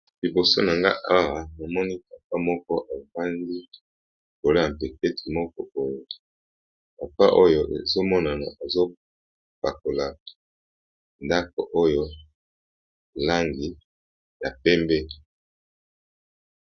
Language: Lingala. Liboso na nga awa namoni papa moko ebandi koloa mpepeti moko poindi papa oyo ezomonano ezopakola ndako oyo langi ya pembe.